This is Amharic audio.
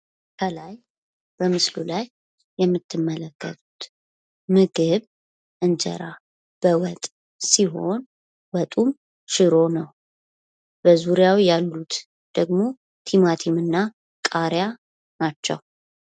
ከላይ በምስሉ ላይ የምትመለከቱት ምግብ እንጀራ በ ወጥ ሲሆን ወጡም ሽሮ ነው ። በዙሪያው ያሉት ደግሞ ቲማቲም እና ቃሪያ ናቸው ።